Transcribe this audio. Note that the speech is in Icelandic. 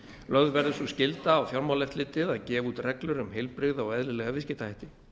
lögð verður sú skylda á fjármálaeftirlitið að gefa út reglur um heilbrigða og eðlilega viðskiptahætti